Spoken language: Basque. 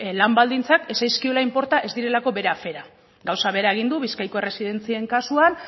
lan baldintzak ez zaizkiolako inporta ez direlako bere afera gauza bera egin du bizkaiko erresidentzien kasuan